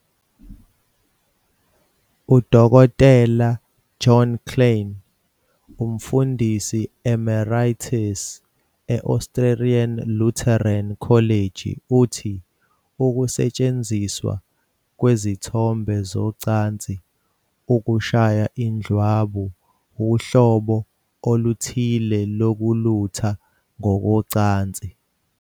UDokotela John Kleinig, uMfundisi Emeritus e- Australian Lutheran College, uthi, "Ukusetshenziswa kwezithombe zocansi ukushaya indlwabu uhlobo oluthile lokulutha ngokocansi.